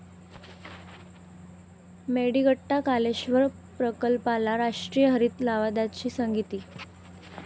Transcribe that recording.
मेडीगट्टा कालेश्वर प्रकल्पाला राष्ट्रीय हरित लवाद्याची स्थगिती